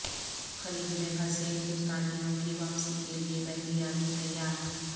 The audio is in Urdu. خلیج میں پھنسے ہندوستانیوں کی واپسی کیلئے بحریہ بھی تیار